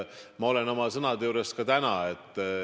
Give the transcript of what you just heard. Ma olen oma sõnade juures ka täna.